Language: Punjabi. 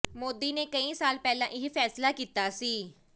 ਮੋਦੀ ਨੇ ਕਈ ਸਾਲ ਪਹਿਲਾਂ ਇਹ ਫ਼ੈਸਲਾ ਕੀਤਾ ਸੀ